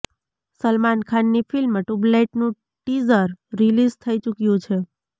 સલમાન ખાન ની film Tubelight નું teaser release થઇ ચૂક્યું છે